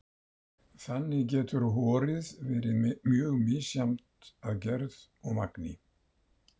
Þannig getur horið verið mjög misjafnt að gerð og magni.